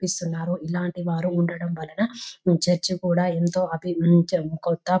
కనిపిస్తూ ఉన్నారు ఇలాంటి వారు ఉండడం వలన ఈ చర్చ్ కూడా ఎంతో --